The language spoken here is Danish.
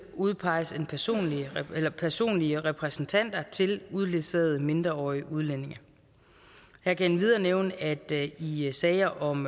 udpeges personlige personlige repræsentanter til uledsagede mindreårige udlændinge jeg kan endvidere nævne at det i sager om